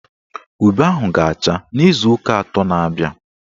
Ube ahụ ga-acha n'izuụka atọ na-abịa.